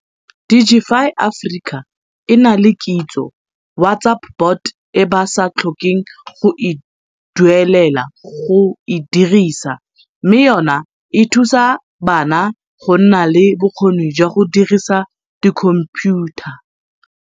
Digify Africa e na le Kitso WhatsApp bot e ba sa tlhokeng go e duelela go e dirisa mme yona e thusa bana go nna le bokgoni jwa go dirisa dikhomphiutha.